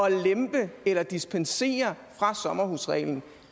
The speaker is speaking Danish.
at lempe eller dispensere fra sommerhusreglen